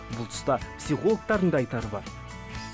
бұл тұста психологтың да айтары бар